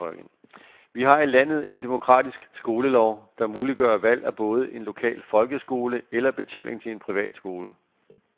Vi har i landet en demokratisk skolelov, der muliggør valg af både en lokal folkeskole eller betaling til en privat skole.